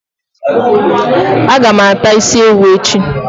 Aga m ata isi ewu echi